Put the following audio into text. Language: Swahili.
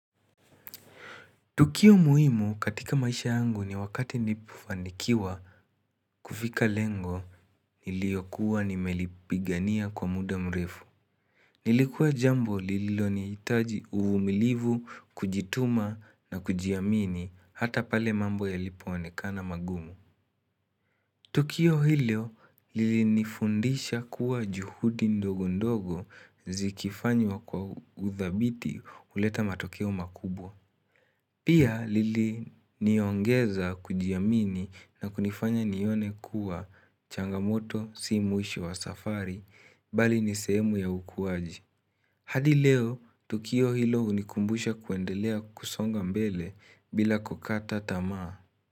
Tukio muhimu katika maisha yangu ni wakati nilipofanikiwa kufika lengo niliyokuwa nimelipigania kwa muda mrefu. Nilikuwa jambo lililoni itaji uvumilivu, kujituma na kujiamini hata pale mambo yalipo onekana magumu. Tukio hilo lilini fundisha kuwa juhudi ndogo ndogo zikifanywa kwa uthabiti huleta matokeo makubwa. Pia lili niongeza kujiamini na kunifanya nione kuwa changamoto si mwisho wa safari bali ni sehemu ya ukuwaji. Hadi leo, tukio hilo unikumbusha kuendelea kusonga mbele bila kukata tamaa.